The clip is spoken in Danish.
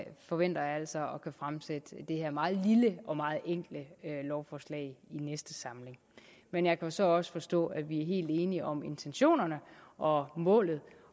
forventer jeg altså at kunne fremsætte det her meget lille og meget enkle lovforslag i næste samling men jeg jo så også forstå at vi er helt enige om intentionerne og målet